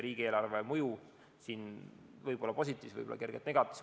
Riigieelarveline mõju võib olla positiivne, aga võib-olla ka kergelt negatiivne.